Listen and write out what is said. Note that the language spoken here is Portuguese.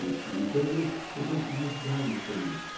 Então, quer dizer, são coisas que me ajudaram no começo.